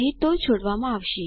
નહી તો છોડવામાં આવશે